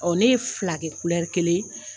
ne ye fila kɛ kelen ye.